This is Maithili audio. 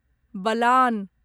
बलान